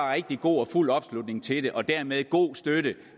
rigtig god og fuld opslutning til det og dermed god støtte